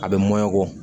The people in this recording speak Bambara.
A bɛ mɔkɔ